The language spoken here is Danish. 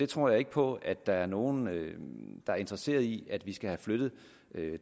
tror ikke på at der er nogen der er interesseret i at vi skal have flyttet